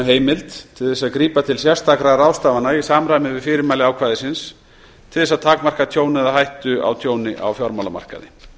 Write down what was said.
heimild til þess að grípa til sérstakra ráðstafana í samræmi við fyrirmæli ákvæðisins til þess að takmarka tjón eða hættu á tjóni á fjármálamarkaði